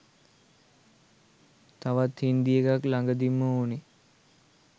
තවත් හින්දි එකක් ලගදීම් ඕනේ